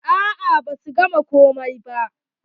A'a ba su gama ko ba.